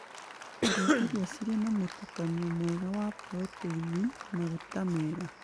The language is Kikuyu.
Kũrĩa irio cirĩ na mũtukanio mwega wa proteini, maguta mega